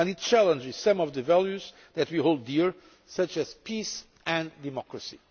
and it challenges some of the values that we hold dear, such as peace and democracy.